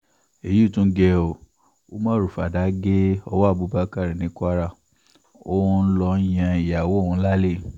èyí tún gé o umaru fàdà gé ọwọ́ abubakar ní kwara ó lọ ń yan ìyàwó òun lálẹ́